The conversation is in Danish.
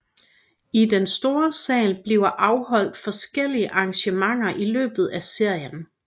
I den store sal bliver afholdt forskellige arrangementer i løbet af serien